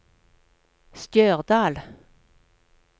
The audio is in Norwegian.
Stjørdal